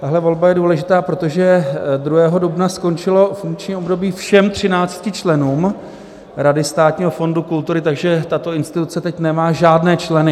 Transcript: Tahle volba je důležitá, protože 2. dubna skončilo funkční období všem 13 členům Rady Státního fondu kultury, takže tato instituce teď nemá žádné členy.